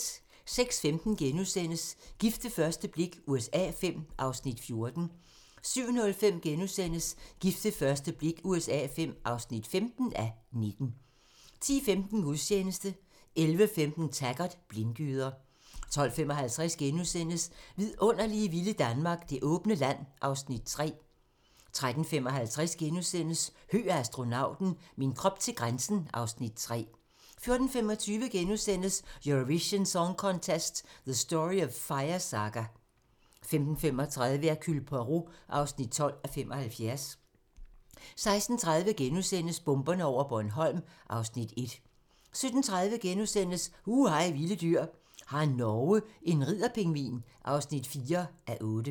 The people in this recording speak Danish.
06:15: Gift ved første blik USA V (14:19)* 07:05: Gift ved første blik USA V (15:19)* 10:15: Gudstjeneste 11:15: Taggart: Blindgyder 12:55: Vilde vidunderlige Danmark - Det åbne land (Afs. 3)* 13:55: Høgh og astronauten - min krop til grænsen (Afs. 3)* 14:25: Eurovision Song Contest: The Story of Fire Saga * 15:35: Hercule Poirot (12:75) 16:30: Bomberne over Bornholm (Afs. 1)* 17:30: Hu hej vilde dyr: Har Norge en ridder-pingvin? (4:8)*